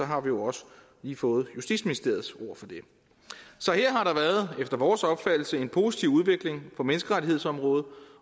har vi jo også lige fået justitsministeriets ord for det så her har der været efter vores opfattelse en positiv udvikling på menneskerettighedsområdet